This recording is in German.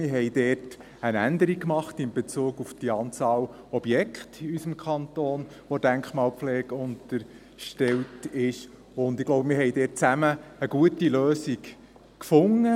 Wir haben dort eine Änderung gemacht in Bezug auf die Anzahl Objekte, die in unserem Kanton der Denkmalpflege unterstellt sind, und ich glaube, wir haben dort zusammen eine gute Lösung gefunden.